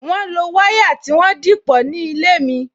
Wọn lo wire tí wọ́n dìpọ̀ ní ilé mi